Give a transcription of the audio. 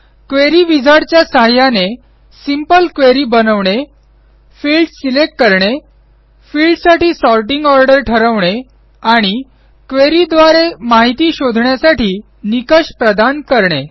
query wizard च्या सहाय्याने simple query बनवणे फिल्डस सिलेक्ट करणे फिल्डसाठी सॉर्टिंग ऑर्डर ठरवणे आणि क्वेरी द्वारे माहिती शोधण्यासाठी निकष प्रदान करणे